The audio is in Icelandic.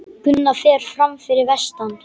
Gunnar fer fram fyrir vestan